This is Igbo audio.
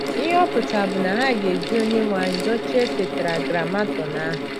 Ihe ọ pụtara bụ na ha ga - eji “ Onyenwe anyị ” dochie Tetragramatọn ahụ.